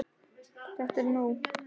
ÞETTA ER NÓG!